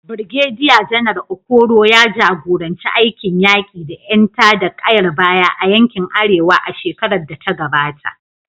Birgediya Janar Okoro ya jagoranci aikin yaƙi da ƴan tada ƙayar baya a yankin Arewa a shekarar da ta gabata.